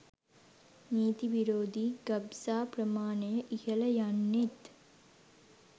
නීති විෙරා්ධී ගබ්සා ප්‍රමාණය ඉහල යන්ෙනත්.